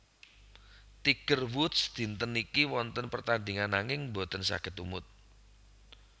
Tiger Woods dinten niki wonten pertandingan nanging mboten saget tumut